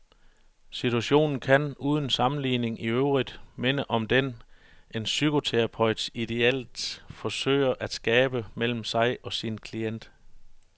Situationen kan, uden sammenligning iøvrigt, minde om den, en psykoterapeut idéelt forsøger at skabe mellem sig og sin klient.